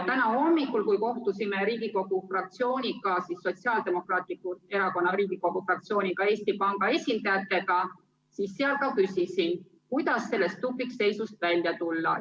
Täna hommikul, kui Riigikogu Sotsiaaldemokraatliku Erakonna fraktsioon kohtus Eesti Panga esindajatega, küsisin ka seal, kuidas sellest tupikseisust välja tulla.